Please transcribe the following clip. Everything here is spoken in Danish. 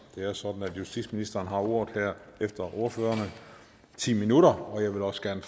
det er sådan at justitsministeren har ordet efter ordførerne i ti minutter og jeg vil også gerne